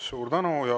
Suur tänu!